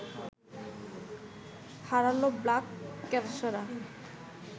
হারাল Black ক্যাপসরা